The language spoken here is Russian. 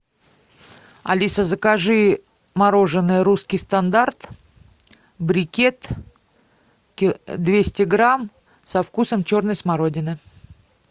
алиса закажи мороженое русский стандарт брикет двести грамм со вкусом черной смородины